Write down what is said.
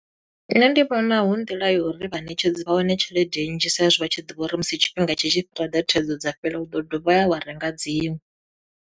Nṋe ndi vhona hu nḓila ya uri vhaṋetshedzi vha wane tshelede nnzhi sa i zwi vha tshi ḓivha uri musi tshifhinga tshi tshi ḓo ḓa thaidzo dza fhela u ḓo dovha wa ya wa renga dziṅwe.